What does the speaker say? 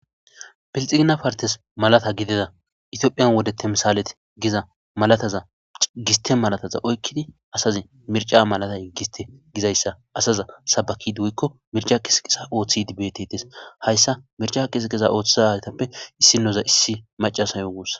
Bixigina partes malata gidida ithiyophiya wode temisaket giza malataza giste malataza oykid Mirca malatay giste gizaysa asaza sabakid woyko mirca qisiqesa othid betetes.haysa othiza asatappe idinya issi macashe gusa.